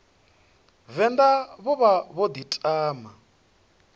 venḓa vho vha vho ḓiṱama